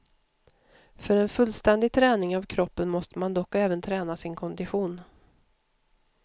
För en fullständig träning av kroppen måste man dock även träna sin kondition.